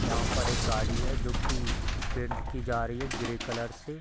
यहाँ पर एक गाड़ी है जो की पेंट की जा रही है ग्रे कलर से |